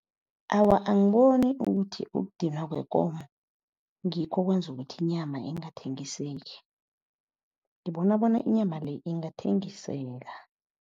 Awa, angiboni ukuthi ukudinwa kwekomo ngikho okwenza ukuthi inyama ingathengiseki. Ngibona bona inyama le ingathengiseka.